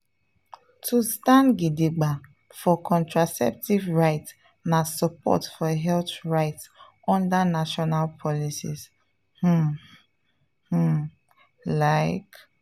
to stand gidigba for contraceptive rights na support for health rights under national policies… pause… pause… like.